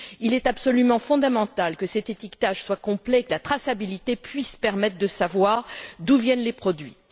Il est absolument fondamental que cet étiquetage soit complet, que la traçabilité puisse permettre de savoir d'où viennent les produits.